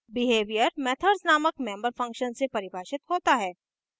behavior methods नामक member functions से परिभाषित होता है